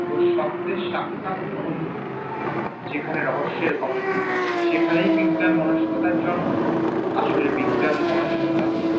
ও সবচেয়ে সাক্ষাত কোন যেখানে রহস্যের ভরপুর সেখানেই বিজ্ঞান মনস্কতার জন্ম, আসলে বিজ্ঞান মনস্কতা